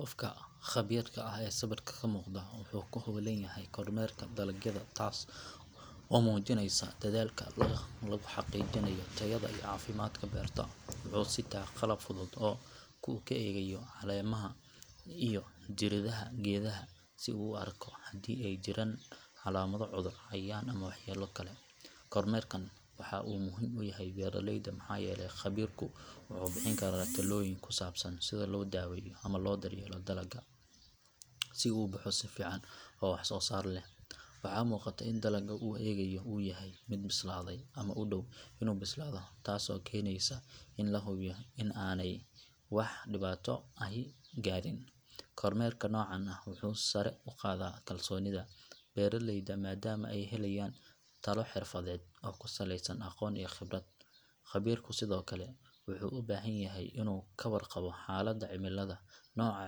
Qofka khabiirka ah ee sawirka ka muuqda wuxuu ku hawlan yahay kormeerka dalagyada taas oo muujinaysa dadaalka lagu xaqiijinayo tayada iyo caafimaadka beerta. Wuxuu sita qalab fudud oo uu ku eegayo caleemaha iyo jirridaha geedaha si uu u arko haddii ay jiraan calaamado cudur, cayayaan ama waxyeello kale. Kormeerkan waxa uu muhiim u yahay beeraleyda maxaa yeelay khabiirku wuxuu bixin karaa talooyin ku saabsan sida loo daweeyo ama loo daryeelo dalagga si uu u baxo si fiican oo wax soo saar leh. Waxaa muuqata in dalagga uu eegayo uu yahay mid bislaaday ama u dhow inuu bislaado taasoo keenaysa in la hubiyo in aanay wax dhibaato ahi gaadhin. Kormeerka noocan ah wuxuu sare u qaadaa kalsoonida beeraleyda maadaama ay helayaan talo xirfadeed oo ku saleysan aqoon iyo khibrad. Khabiirku sidoo kale wuxuu u baahan yahay inuu ka warqabo xaaladda cimilada, nooca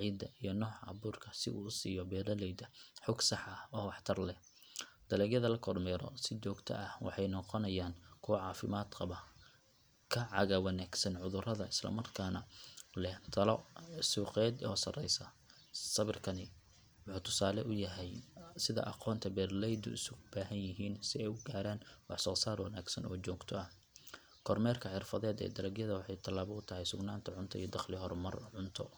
ciidda iyo nooca abuurka si uu u siiyo beeraleyda xog sax ah oo waxtar leh. Dalagyada la kormeero si joogto ah waxay noqonayaan kuwo caafimaad qaba, ka caga wanaagsan cudurrada islamarkaana leh tayo suuqeed oo sareysa. Sawirkan wuxuu tusaale u yahay sida aqoonta iyo beeralaydu isugu baahanyihiin si ay u gaaraan wax soo saar wanaagsan oo joogto ah. Kormeerka xirfadeed ee dalagyada waa tallaabo horumarineed oo lagu gaaro sugnaan cunto, dakhli iyo horumar waara.